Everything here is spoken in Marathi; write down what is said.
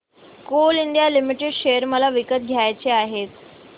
कोल इंडिया लिमिटेड शेअर मला विकत घ्यायचे आहेत